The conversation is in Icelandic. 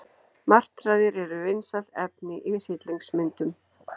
Martraðir eru vinsælt efni í hryllingsmyndum.